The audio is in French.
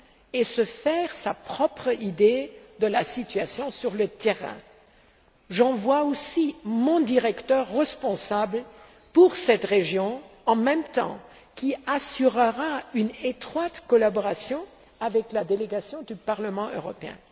et se faire sa propre idée de la situation sur le terrain. J'envoie aussi mon directeur responsable pour cette région, en même temps, qui assurera une étroite collaboration avec la délégation du Parlement européen.